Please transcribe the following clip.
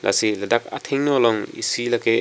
lasi ladak athengno along isi lake--